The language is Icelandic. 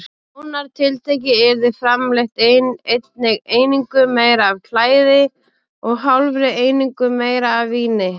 Nánar tiltekið yrði framleitt einni einingu meira af klæði og hálfri einingu meira af víni.